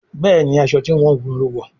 Béèni aṣọ tí wón wun ló wọ.